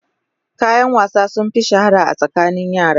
Kayan wasa sun fi shahara a tsakanin yara.